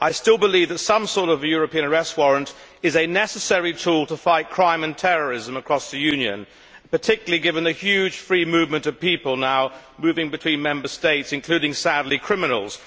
I still believe that some sort of European Arrest Warrant is a necessary tool to fight crime and terrorism across the Union, particularly given the huge free movement of people now moving between Member States, including sadly criminals.